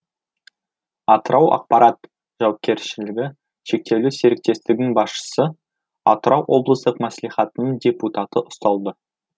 атырау ақпарат жауапкершілігі шектеулі серіктестігінің басшысы атырау облыстық мәслихатының депутаты ұсталды